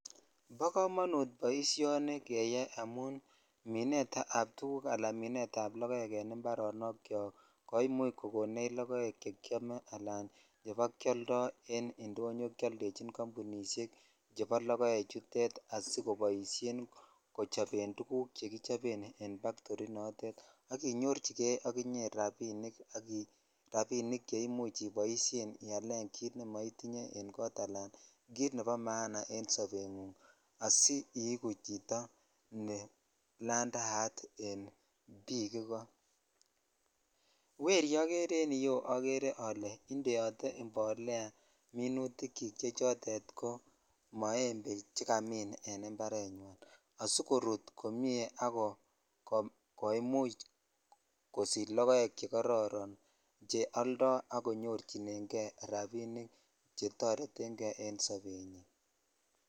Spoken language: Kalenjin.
Bo komonut boisioni keyai minet ab tuguk ala minet ab lokoek en imparonok kyok chwak koimuch kokon lokoek chekiome ala chekioldoe indonyoo keoldechi kambunishek chebo lokeechoto asikoboishen kechoben tuguk chekichoben ak inyorchikei ak inye rabinik che imuchialen tuguk chemetinye ala kit nebo maana asiigu chito ne ladaat en bik ikoo weri okere en yuu okere ole indeote imbolea minitik chik che chotet ko moembe chekimin en imparenyin asikorut komie ak komuch kosich lokoek che koronche oldo ak konyor rabinik kotoreten kei en sobengunng.